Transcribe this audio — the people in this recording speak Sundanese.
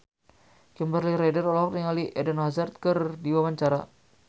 Kimberly Ryder olohok ningali Eden Hazard keur diwawancara